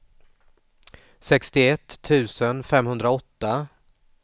sextioett tusen femhundraåtta